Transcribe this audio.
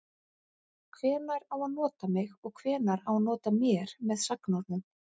Hvenær á að nota mig og hvenær á að nota mér með sagnorðum?